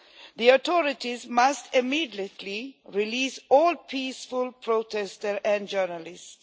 The authorities must immediately release all peaceful protesters and journalists.